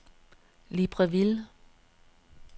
Libreville